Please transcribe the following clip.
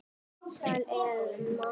Sæl, Elma.